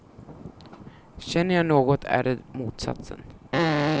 Känner jag något är det motsatsen.